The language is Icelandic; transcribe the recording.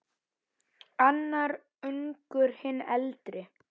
Annar ungur, hinn eldri.